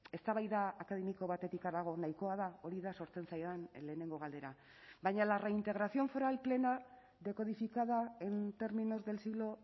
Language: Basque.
eztabaida akademiko batetik harago nahikoa da hori da sortzen zaidan lehenengo galdera baina la reintegración foral plena decodificada en términos del siglo